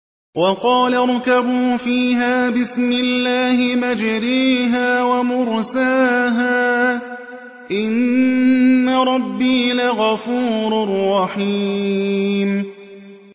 ۞ وَقَالَ ارْكَبُوا فِيهَا بِسْمِ اللَّهِ مَجْرَاهَا وَمُرْسَاهَا ۚ إِنَّ رَبِّي لَغَفُورٌ رَّحِيمٌ